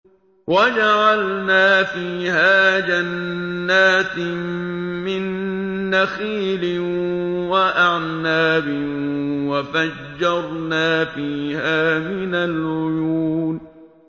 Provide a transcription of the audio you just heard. وَجَعَلْنَا فِيهَا جَنَّاتٍ مِّن نَّخِيلٍ وَأَعْنَابٍ وَفَجَّرْنَا فِيهَا مِنَ الْعُيُونِ